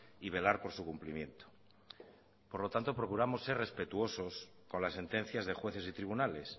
y velar por su cumplimiento por lo tanto procuramos ser respetuosos con las sentencias de jueces y tribunales